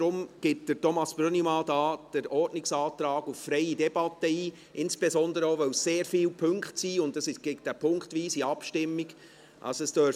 Deshalb gibt Grossrat Brönnimann den Ordnungsantrag auf freie Debatte ein, insbesondere auch, weil es sehr viele Punkte sind und es eine punktweise Abstimmung geben wird.